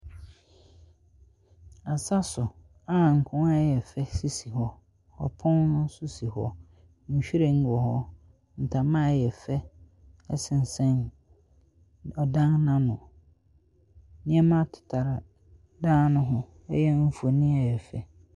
Asa so a nkonnwa a ɛyɛ fɛ sisi hɔ. Ɔpon nso si hɔ, nhwiren wɔ hɔ, ntama a ɔyɛ fɛ sensɛn ɔdan no ano. Nneɛma tetare dan no ho, ɛyɛ mfonin a ɛyɛ fɛ.